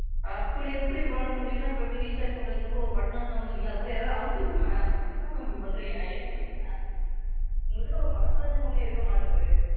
அப்படி எப்படி பண்ண முடியும்னா இப்ப எப்படி Recharge பண்றதுக்கு மட்டும் ஒரு Button ஐ தான அமுத்துனீங்க அந்த மாதிரி ஏதாவது அமுத்துங்க Ma'am என்ன Ma'am இப்படி பண்றீங்க? Help பண்ணுங்க Ma'am உங்களுக்கென்ன ஒரு மனசாட்சின்னு ஒன்னே இருக்க மாட்டிங்குது,